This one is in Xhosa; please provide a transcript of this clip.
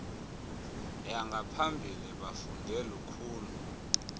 yangaphambili bafunde lukhulu